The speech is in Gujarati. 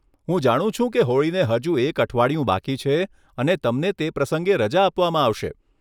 હું જાણું છું કે હોળીને હજુ એક અઠવાડિયું બાકી છે, અને તમને તે પ્રસંગે રજા આપવામાં આવશે. !